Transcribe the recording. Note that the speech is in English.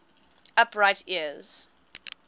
upright ears